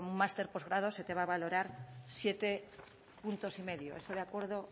máster postgrado se te va a valorar siete puntos y medio eso de acuerdo